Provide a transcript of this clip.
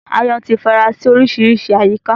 Aáyán ti fara sí oríṣiríṣi àyíká